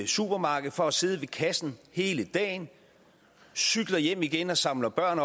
supermarkedet for at sidde ved kassen hele dagen cykler hjem igen og samler børn